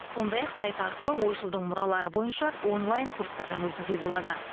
сондай ақ сайт арқылы ойшылдың мұралары бойынша онлайн курстардан өтуге болады